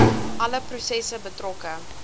alle prosesse betrokke